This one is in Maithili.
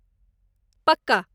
पक्का !